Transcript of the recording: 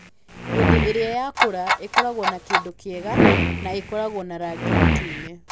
Hĩndĩ ĩrĩa yakũra, ĩkoragwo na kĩndũ kĩega na ĩkoragwo na rangi mũtune.